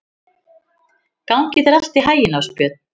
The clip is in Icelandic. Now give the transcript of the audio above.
Gangi þér allt í haginn, Ásbjörn.